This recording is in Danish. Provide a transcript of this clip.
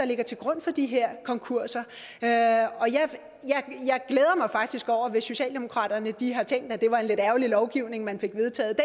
ligger til grund for de her konkurser og jeg glæder mig faktisk over det hvis socialdemokratiet har tænkt at det var en lidt ærgerlig lovgivning man fik vedtaget